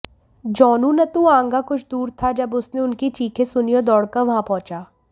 जोनुनतुआंगा कुछ दूर था जब उसने उनकी चीखें सुनी और दौड़कर वहां पहुंचा